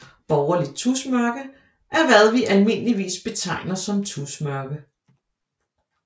Borgerligt tusmørke er hvad vi almindeligvis betegner som tusmørke